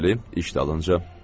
Bəli, iş dalınca.